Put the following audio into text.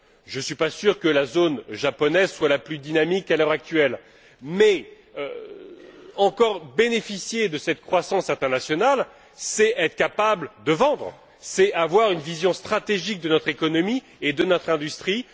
Je ne suis pas sûr que la zone japonaise soit la plus dynamique à l'heure actuelle mais encore bénéficier de cette croissance internationale, c'est être capable de vendre, c'est avoir une vision stratégique de notre économie et de notre industrie.